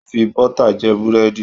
Wọ́n fi bọ́tà jẹ Búrẹ́dì